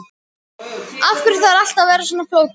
Af hverju þarf allt að vera svona flókið?